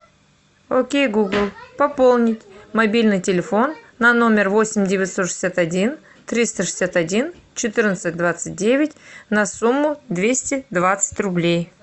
окей гугл пополнить мобильный телефон на номер восемь девятьсот шестьдесят один триста шестьдесят один четырнадцать двадцать девять на сумму двести двадцать рублей